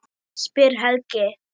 spyr Helgi.